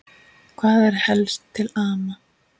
Hvað er helst til ama?